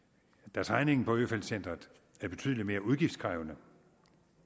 da træningen på øfeldt centret er betydelig mere udgiftskrævende